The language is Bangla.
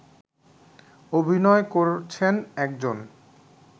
অভিনয় করছেন একজন